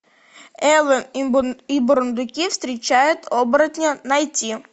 элвин и бурундуки встречают оборотня найти